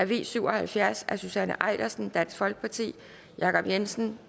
v syv og halvfjerds af susanne eilersen jacob jensen